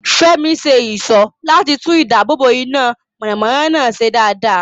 Fẹ́mi ṣe ìṣó láti tún ìdáàbòbò iná mọ̀nàmọ́ná náà ṣe dáadáa.